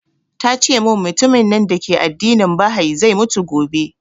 Tace mun mutumin nan dake addinin bahai zai mutu gobe